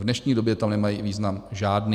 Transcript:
V dnešní době tam nemají význam žádný.